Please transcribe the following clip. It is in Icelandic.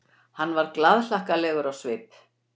Hann var glaðhlakkalegur á svip.